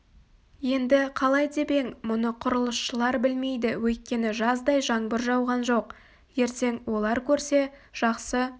енді қалай деп ең мұны құрылысшылар білмейді өйткені жаздай жаңбыр жауған жоқ ертең олар көрсе жақсы